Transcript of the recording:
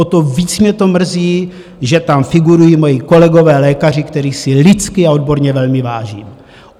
O to víc mě to mrzí, že tam figurují moji kolegové lékaři, kterých si lidsky a odborně velmi vážím.